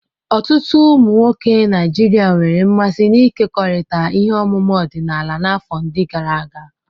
Ọtụtụ ụmụ nwoke Naijiria nwere mmasị n'ịkekọrịta ihe ọmụma ọdịnala n'afọ ndi gara aga.